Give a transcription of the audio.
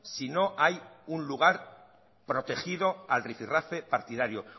si no hay un lugar protegido al rifi rafe partidario